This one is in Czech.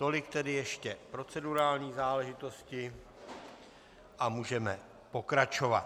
Tolik tedy ještě procedurální záležitosti a můžeme pokračovat.